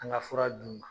An ka fura d'u ma